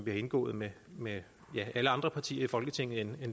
har indgået med med alle andre partier i folketinget end